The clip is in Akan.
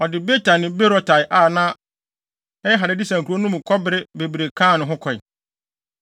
Ɔde Beta ne Berotai a na ɛyɛ Hadadeser nkurow no mu kɔbere bebree kaa ne ho kɔe.